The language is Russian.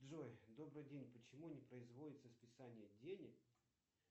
джой добрый день почему не производится списание денег